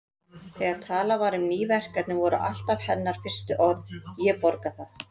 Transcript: Þegar talað var um ný verkefni voru alltaf hennar fyrstu orð: Ég borga það